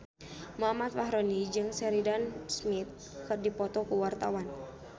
Muhammad Fachroni jeung Sheridan Smith keur dipoto ku wartawan